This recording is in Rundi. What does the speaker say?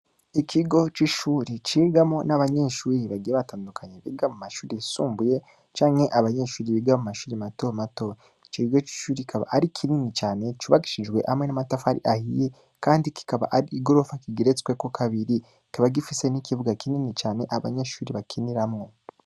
Ikigo c'ishuri cigamwo nabanyeshuri bagenda batadukanye mu mashuri yisumbuye canke abanyeshure biga mu mashure matomato, ico kigo c'ishuri kikaba ari kinini cane, cubakishijwe hamwe namatafari ahiye kandi kikaba ar'igorofa igeretsweho kabiri, kikaba gifise nikibuga kinini cane abanyeshure bakiniramwo.